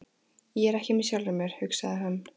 Ég er ekki með sjálfum mér, hugsaði hann.